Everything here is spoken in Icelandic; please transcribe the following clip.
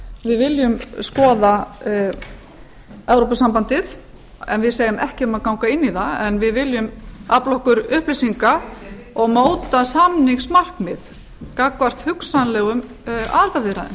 við viljum skoða evrópusambandið en við segjum ekki um að ganga inn í það en við viljum afla okkur upplýsinga og móta samningsmarkmið gagnvart hugsanlegum aðildarviðræðum